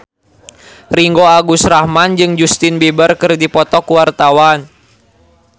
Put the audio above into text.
Ringgo Agus Rahman jeung Justin Beiber keur dipoto ku wartawan